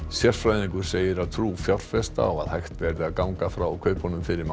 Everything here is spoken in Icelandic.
sérfræðingur segir að trú fjárfesta á að hægt verði að ganga frá kaupunum fyrir